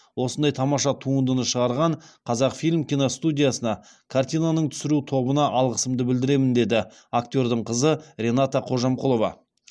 осындай тамаша туындыны шығарған қазақфильм киностудиясына картинаның түсіру тобына алғысымды білдіремін деді актердің қызы рената қожамқұлова